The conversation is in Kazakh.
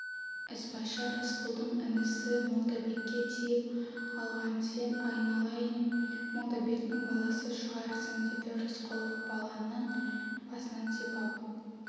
ізбайша рысқұлдың інісі молдабекке тиіп алған сен айналайын молдабектің баласы шығарсың деді рысқұлов баланы басынан сипап